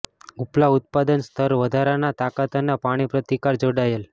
ઉપલા ઉત્પાદન સ્તર વધારાના તાકાત અને પાણી પ્રતિકાર જોડાયેલ